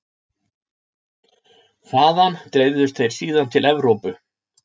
Þaðan dreifðust þeir síðan til Evrópu.